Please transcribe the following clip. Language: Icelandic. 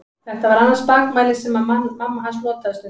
Þetta var annað spakmæli sem mamma hans notaði stundum.